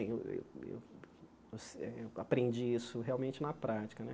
Eu eu eu aprendi isso realmente na prática né.